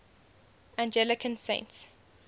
anglican saints